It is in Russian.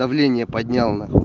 давление поднял нахуй